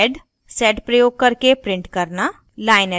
sed प्रयोग करके print करना line addressing